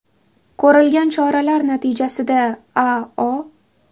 Ko‘rilgan choralar natijasida A.O.